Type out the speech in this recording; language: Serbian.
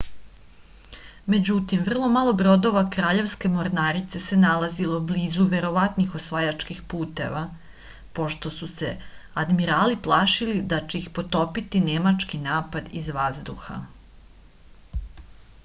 međutim vrlo malo brodova kraljevske mornarice se nalazilo blizu verovatnih osvajačkih puteva pošto su se admirali plašili da će ih potopiti nemački napad iz vazduha